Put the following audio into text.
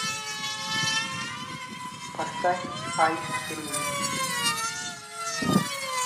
поставь айскрин